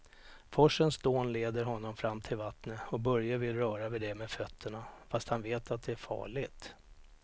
Forsens dån leder honom fram till vattnet och Börje vill röra vid det med fötterna, fast han vet att det är farligt.